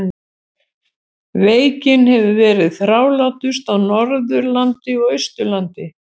Veikin hefur verið þrálátust á Norðurlandi og Austurlandi.